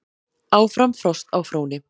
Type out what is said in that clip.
Áfram frost á fróni